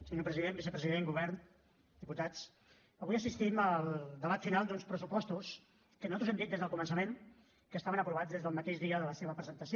senyor president vicepresident govern diputats avui assistim al debat final d’uns pressupostos que nosaltres hem dit des del començament que estaven aprovats des del mateix de la seva presentació